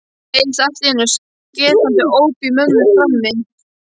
Það heyrðist allt í einu skerandi óp í mömmu frammi.